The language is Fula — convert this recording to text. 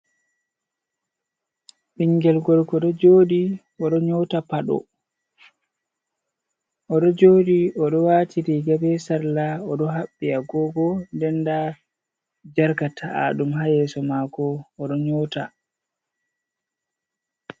Ɓingel gorko oɗo joɗi oɗo nyota paɗo oɗo joɗi oɗo wati riga be salla oɗo haɓɓi agogo ɗen nɗa jarka ta’a ɗum ha yeso mako oɗo nyota.